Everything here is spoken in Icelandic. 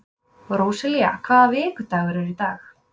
Róselía, hvaða vikudagur er í dag?